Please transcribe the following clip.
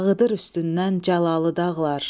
Dağıdır üstündən Cəlalı dağlar.